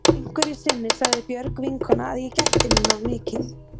Einhverju sinni sagði Björg vinkona að ég gætti mín of mikið.